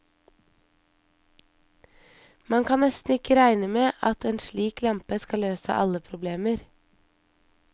Man kan nesten ikke regne med at en slik lampe skal løse alle problemer.